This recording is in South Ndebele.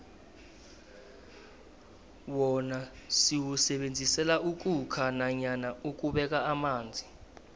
wona siwusebenzisela ukhukha nanyana ukubeka amanzi